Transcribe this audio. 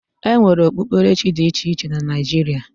E nwere okpukperechi dị iche iche na Naijiria.